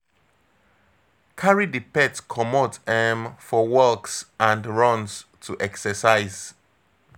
Carry di pet comot um for walks and runs to exercise